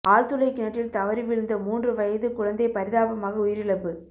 ஆழ்துளை கிணற்றில் தவறி விழுந்த மூன்று வயது குழந்தை பரிதாபமாக உயிரிப்பு